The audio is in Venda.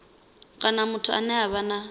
kana muthu ane a vha